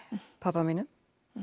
pabba mínum